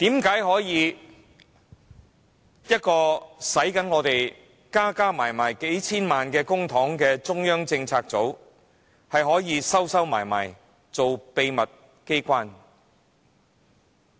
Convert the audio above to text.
為何一個耗用合共數千萬元公帑的中策組，可以躲起來做秘密機關？